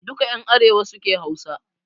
Duka ƴan arewa suke Hausa